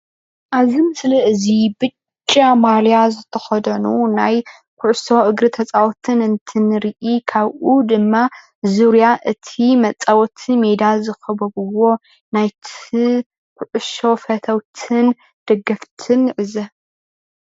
እብዚ ምስሊ እዚ ብጫ ማልያ ዝተኸደኑ ናይ ኩዕሶ እግሪ ተጻወቲ እንትንርኢ ካብኡ ድማ ዙርያ እቲ መጻወቲ ሜዳ ዝኸበብዎ ናይቲ ኩዕሶ ፈተዉትን ደገፈትን ንዕዘብ።